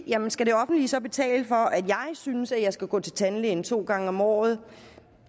jamen skal det offentlige så betale for at jeg synes at jeg skal gå til tandlæge to gange om året